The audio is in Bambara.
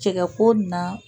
Cɛkɛko na